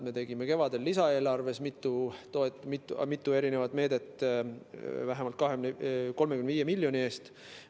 Me tegime kevadel lisaeelarves mitu meedet, vähemalt 35 miljoni eest.